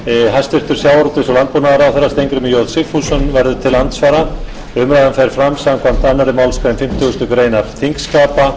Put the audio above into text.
hæstvirtum sjávarútvegs og landbúnaðarráðherra steingrímur j sigfússon verður til andsvara umræðan fer fram samkvæmt annarri málsgrein fimmtugustu grein þingskapa og stendur í hálfa klukkustund